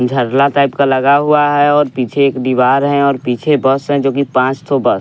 झरला type का लगा हुआ है और पीछे एक दीवार है और पीछे बस है जोकि पांच ठो बस --